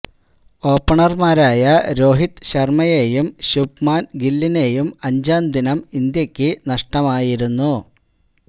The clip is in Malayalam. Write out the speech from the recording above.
ഓപ്പണർമാരായ രോഹിത് ശർമയേയും ശുഭ്മാൻ ഗില്ലിനേയും അഞ്ചാം ദിനം ഇന്ത്യക്ക് നഷ്ടമായിരുന്നു